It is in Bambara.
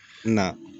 Na